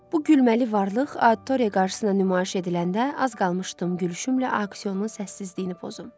Bu gülməli varlıq auditoriya qarşısına nümayiş ediləndə az qalmışdım gülüşümlə auksionun səssizliyini pozum.